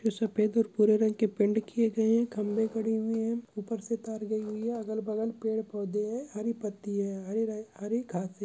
सफेद और भूरे रंग की पैंट किये गए है। खंबे खड़े हुए है। ऊपर से तार गई हुई है। अगल बगल पेड़ पौधे है। हरी पत्ती है। हरे हरी घास है।